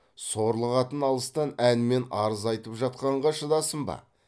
сорлы қатын алыстан әнмен арыз айтып жатқанға шыдасын ба